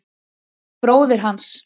Þetta er bróðir hans.